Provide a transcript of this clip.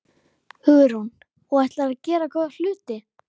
Hugrún: Og ætlarðu að gera góða hluti?